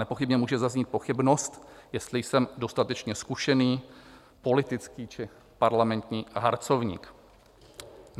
Nepochybně může zaznít pochybnost, jestli jsem dostatečně zkušený politický či parlamentní harcovník.